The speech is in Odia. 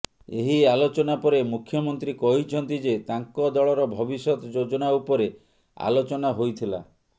ଏହି ଆଲୋଚନା ପରେ ମୁଖ୍ୟମନ୍ତ୍ରୀ କହିଛନ୍ତି ଯେ ତାଙ୍କ ଦଳର ଭବିଷ୍ୟତ ଯୋଜନା ଉପରେ ଆଲୋଚନା ହୋଇଥିଲା